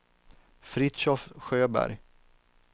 Fritiof Sjöberg